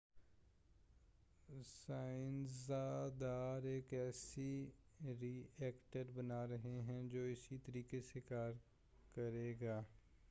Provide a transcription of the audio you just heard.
سائنزس داں ایک ایسا ری ایکٹر بنا رہے ہیں جو اسی طریقہ سے کار کرے گا